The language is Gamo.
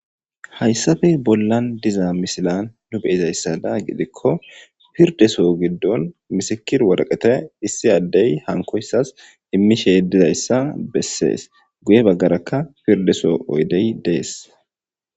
hayssafe bollan diza misilan nu beyizayssada gidikko pirdeso giddon misikir woraqete issi addey hankoyssas himmi sheedizayssa bessees guye baggarakka pirdeso oydey dees